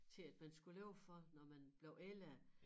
Til at man skulle leve for når man blev ældre